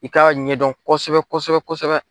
I ka ɲɛdɔn kosɛbɛ kosɛbɛ kosɛbɛ.